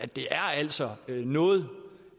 det er altså noget